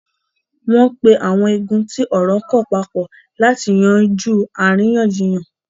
wọ́n pe àwọn igun tí ọ̀rọ́ kàn papọ̀ láti yanjú àríyànjiyàn.